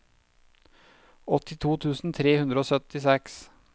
åttito tusen tre hundre og syttiseks